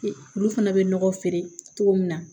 Olu fana bɛ nɔgɔ feere cogo min na